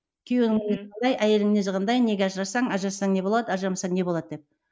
күйеуінің қандай әйелінің мінезі қандай неге ажырассаң ажырассаң не болады ажырамасаң не болады деп